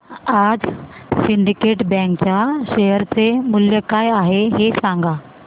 आज Syndicate bank च्या share चे मूल्य काय आहे हे सांगा